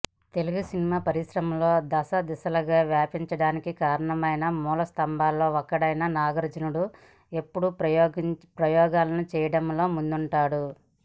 తెలుగు సినిమా పరిశ్రమ దశదిశలల్లా వ్యాపించడానికి కారణమైన మూలస్థంభాల్లో ఒకడైన నాగార్జున ఎప్పుడు ప్రయోగాలను చేయడంలో ముందుంటాడు